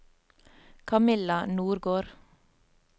Camilla Nordgård